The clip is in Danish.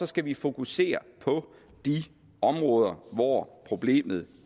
skal vi fokusere på de områder hvor problemet